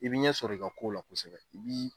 I bi ɲɛ sɔrɔ i ka ko la kosɛbɛ i bi